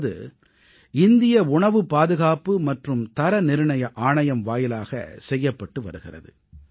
அதாவது இந்திய உணவுப் பாதுகாப்பு மற்றும் தரநிர்ணய ஆணையம் வாயிலாகச் செய்யப்பட்டு வருகிறது